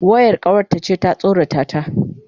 Wayar kawarta ce ta tsorata ta.